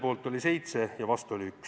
Aitäh teile!